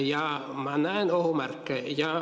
Ja ma näen ohumärke.